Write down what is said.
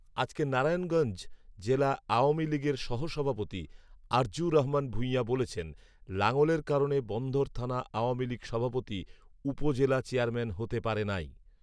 আজকের নারায়নগঞ্জ জেলা আওয়ামীলীগের সহ সভাপতি আরজু রহমান ভূইয়া বলেছেন, লাঙ্গলের কারণে বন্দর থানা আওয়ামীলীগ সভাপতি উপজেলা চেয়ারম্যান হতে পারে নাই